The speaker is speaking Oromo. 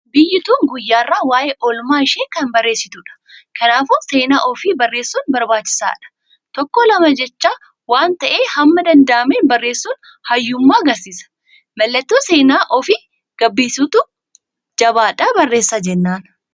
Biyyi tun guyyarraa waa'ee oolmaa ishee kan barreessitudh. Kanaafuu seenaa ufii barreessun barbaachisaadha Tokko lama jecha waan ta'e hamma danda'ameen barreessun hayyummaa argisiisa. Mallatto seenaa ufii gabbisuuti. Jabaadhaa barreessa jennaan.